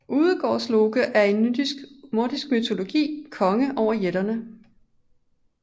Udgårdsloke er i nordisk mytologi konge over jætterne